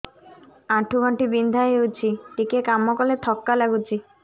ଆଣ୍ଠୁ ଗଣ୍ଠି ବିନ୍ଧା ହେଉଛି ଟିକେ କାମ କଲେ ଥକ୍କା ଲାଗୁଚି